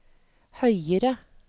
høyere